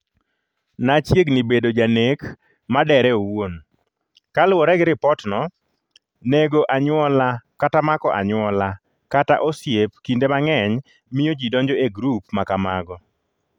“nachiegni bedo janek madere owuon.”Kaluwore gi ripotno, nego anyuola kata mako anyuola kata osiep kinde mang’eny miyo ji donjo e grup ma kamago.